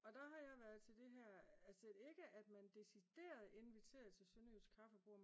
Og der har jeg været til det her altså ikke at man decideret inviterede til sønderjysk kaffebord